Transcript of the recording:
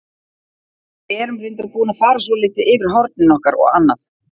Við erum reyndar búin að fara svolítið yfir hornin okkar og annað.